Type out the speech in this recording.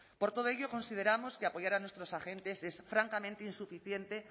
por todo ello consideramos que apoyar a nuestros agentes es francamente insuficiente